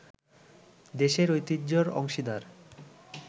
দেশের ঐতিহ্যের অংশীদার